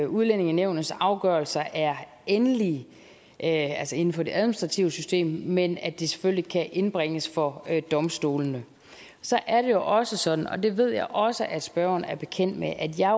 udlændingenævnets afgørelser er endelige altså inden for det administrative system men at de selvfølgelig kan indbringes for domstolene så er det også sådan og det ved jeg også at spørgeren er bekendt med at jeg